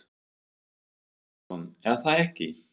Sindri Sindrason: Er það ekki?